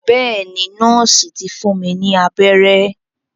Bẹ́ẹ̀ ni, nọ́ọ̀sì ti fún mi ní abẹ́rẹ́.